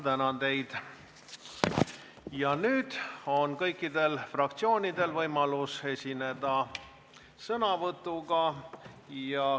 Nüüd on kõikidel fraktsioonidel võimalus esineda sõnavõtuga.